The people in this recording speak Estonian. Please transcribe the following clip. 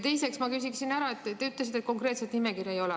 Teiseks ma küsiksin selle kohta, et te ütlesite, et konkreetset nimekirja ei ole.